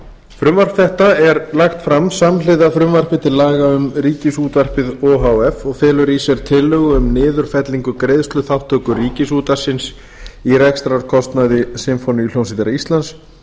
frumvarp þetta er lagt fram samhliða frumvarpi til laga um ríkisútvarpið o h f og felur í sér tillögu um niðurfellingu greiðsluþátttöku ríkisútvarpsins í rekstrarkostnaði sinfóníuhljómsveitar íslands